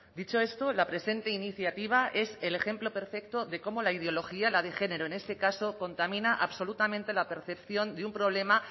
dicho esto la presente iniciativa es el ejemplo perfecto de cómo la ideología la de género en este caso contamina absolutamente la percepción de un problema